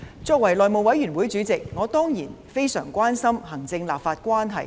作為內務委員會主席，我當然非常關心行政立法關係。